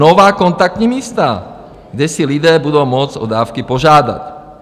Nová kontaktní místa, kde si lidé budou moct o dávky požádat.